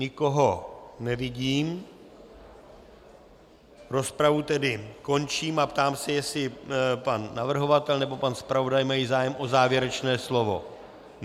Nikoho nevidím, rozpravu tedy končím a ptám se, jestli pan navrhovatel nebo pan zpravodaj mají zájem o závěrečné slovo.